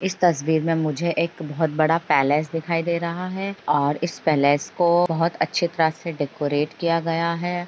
इस तस्वीर मे मुझे एक बहुत बड़ा पैलेस दिखाई दे रहा है ओर इस पैलेस को बहुत अच्छी तरह से डेकोरेट किया गया है|